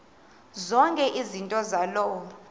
zonke izinto zaloo